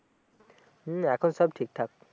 হম এখন সব ঠিক-ঠাক